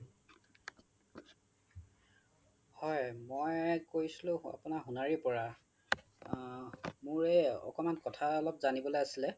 হয় মই কৈছিলো আপোনাৰ সোনাৰিৰ পৰা আ মোৰ এই অকমান কথা অলপ যানিবলৈ আছিলে